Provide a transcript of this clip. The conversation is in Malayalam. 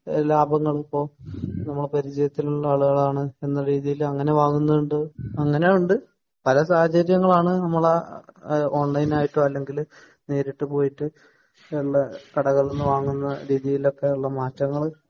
ലാഭങ്ങൾ ഇപ്പൊ നമ്മളെ പരിചയത്തിലുള്ള ആളുകളാണ് എന്നുള്ള രീതിയിൽ അങ്ങിനെ വാങ്ങുന്ന ഉണ്ട് അങ്ങിനെ ഉണ്ട് പല സാഹചര്യങ്ങളാണ് നമ്മളെ ഓൺലൈനായിട്ടോ അല്ലെങ്കിൽ നേരിട്ട് പോയിട്ട് കടകളിൽന്ന് വാങ്ങുന്ന രീതിയിലൊക്കെ ഉള്ള മാറ്റങ്ങൾ